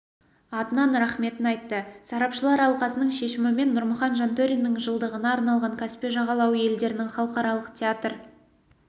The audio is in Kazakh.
атынан рахметін айтты сарапшылар алқасының шешімімен нұрмұхан жантөриннің жылдығына арналған каспий жағалауы елдерінің халықаралық театр